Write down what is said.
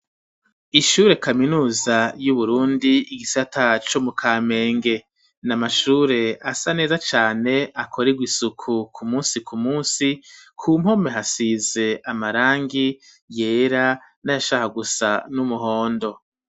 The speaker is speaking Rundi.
Ishure kaminuza y'Uburundi igisata co mu Kamenge, na mashure asa neza cane akoregwa isuku ku munsi ku munsi ,ku mpome hasize amarangi yera n'ayashaka gusa n'umuhondo.